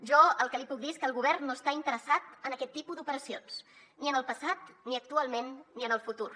jo el que li puc dir és que el govern no està interessat en aquest tipus d’operacions ni en el passat ni actualment ni en el futur